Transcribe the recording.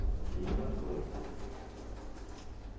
Eu tenho que dizer uma coisa.